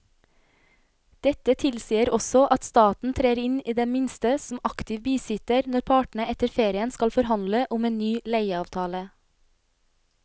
Dette tilsier også at staten trer inn i det minste som aktiv bisitter når partene etter ferien skal forhandle om en ny leieavtale.